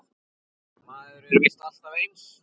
Maður er víst alltaf eins!